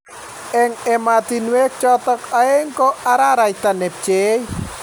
Eng emetaniwek chotok aeng' ko araraita ne pcheiy